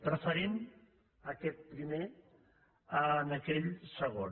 preferim aquest primer a aquell segon